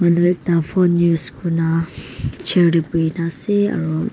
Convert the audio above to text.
dui ta phone use kuna picture teh bohi na ase aro--